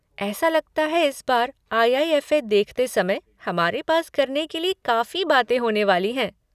ऐसा लगता है इस बार आई.आई.एफ.ए. देखते समय हमारे पास करने के लिए काफ़ी बातें होने वाली हैं।